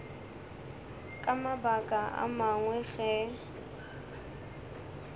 ka mabaka a mangwe ge